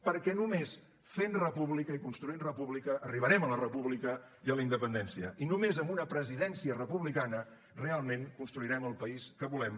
perquè només fent república i construint república arribarem a la república i a la independència i només amb una presidència republicana realment construirem el país que volem